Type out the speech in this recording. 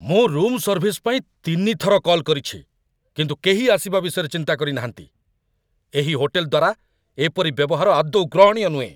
ମୁଁ room service ପାଇଁ ତିନିଥର କଲ୍ କରିଛି, କିନ୍ତୁ କେହି ଆସିବା ବିଷୟରେ ଚିନ୍ତା କରିନାହାନ୍ତି! ଏହି ହୋଟେଲ୍‌ ଦ୍ୱାରା ଏପରି ବ୍ୟବହାର ଆଦୌ ଗ୍ରହଣୀୟ ନୁହେଁ।